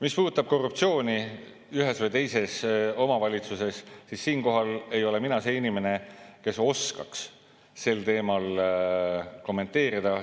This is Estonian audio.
Mis puudutab korruptsiooni ühes või teises omavalitsuses, siis mina ei ole see inimene, kes oskaks seda teemat kommenteerida.